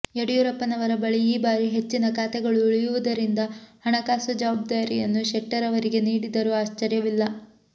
ಯಡಿಯೂರಪ್ಪನವರ ಬಳಿ ಈ ಬಾರಿ ಹೆಚ್ಚಿನ ಖಾತೆಗಳು ಉಳಿಯುವುದರಿಂದ ಹಣಕಾಸು ಜವಾಬ್ದಾರಿಯನ್ನು ಶೆಟ್ಟರ್ ಅವರಿಗೆ ನೀಡಿದರೂ ಆಶ್ಚರ್ಯವಿಲ್ಲ